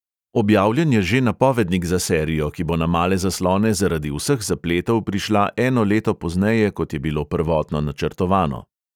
Objavljen je že napovednik za serijo, ki bo na male zaslone zaradi vseh zapletov prišla eno leto pozneje, kot je bilo prvotno načrtovano.